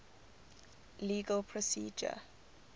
legal procedure